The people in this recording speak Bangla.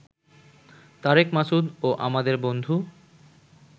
তারেক মাসুদ ও আমাদের বন্ধু